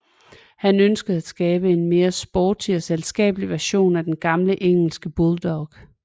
Han ønskede at skabe en mere sporty og selskabelig version af den gamle engelske bulldog